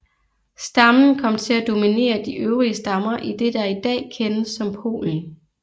Stammen kom til at dominere de øvrige stammer i det der i dag kendes som Polen